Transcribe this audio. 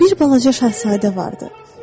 Bir balaca şahzadə vardı.